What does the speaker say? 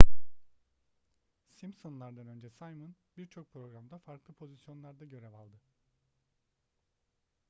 simpsonlar'dan önce simon birçok programda farklı pozisyonlarda görev aldı